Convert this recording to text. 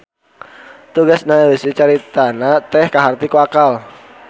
Tegesna eusi caritana teh kaharti ku akal.